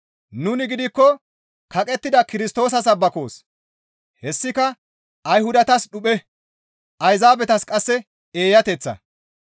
Nuni gidikko kaqettida Kirstoosa sabbakoos; hessika Ayhudatas dhuphe; Ayzaabetas qasse eeyateththa.